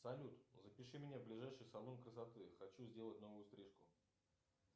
салют запиши меня в ближайший салон красоты хочу сделать новую стрижку